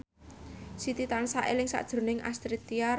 Siti tansah eling sakjroning Astrid Tiar